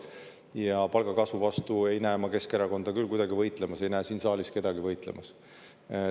Ja palgakasvu vastu ei näe ma Keskerakonda küll kuidagi võitlemas, ei näe siin saalis kedagi võitlemas.